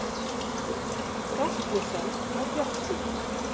Rasmussen er bjartsýnn